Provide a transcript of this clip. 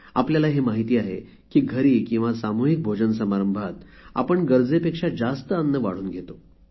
आपल्याला हे माहीत आहे की घरी किंवा सामूहिक भोजन समारंभात आपण गरजेपेक्षा जास्त अन्न वाढून घेतो